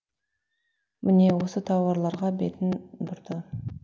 міне осы тауарларға бетін бұрды